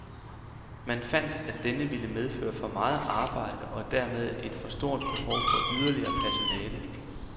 Man fandt, at denne ville medføre for meget arbejde og dermed et for stort behov for yderligere personale.